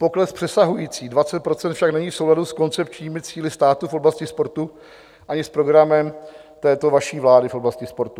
Pokles přesahující 20 % však není v souladu s koncepčními cíli státu v oblasti sportu ani s programem této vaší vlády v oblasti sportu.